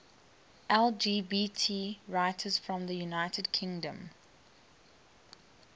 lgbt writers from the united kingdom